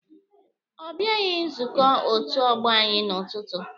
Ọ bịaghị nzukọ otu ọgbọ anyị n'ụtụtụ.